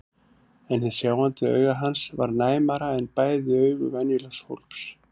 En hið sjáandi auga hans var næmara en bæði augu venjulegs fólks.